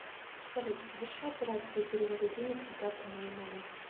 салют соверши операцию перевода денег на карту моей маме